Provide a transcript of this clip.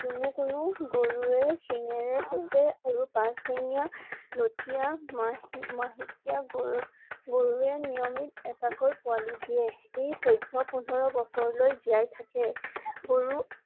কোনো কোনো গৰুৱে শিঙেৰে খুচে আৰু পাছ ঠেঙীয়া লথিয়া মহি~মাহেকীয়া গৰু~গৰুৱে নিয়মিত এটাকৈ পোৱালি দিয়ে। ই চৈধ্য পোন্ধৰ বছৰলৈ জীয়াই থাকে গৰু ।